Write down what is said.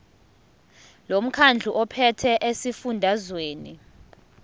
lomkhandlu ophethe esifundazweni